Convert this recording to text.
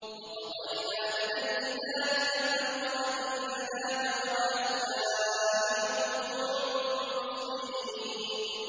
وَقَضَيْنَا إِلَيْهِ ذَٰلِكَ الْأَمْرَ أَنَّ دَابِرَ هَٰؤُلَاءِ مَقْطُوعٌ مُّصْبِحِينَ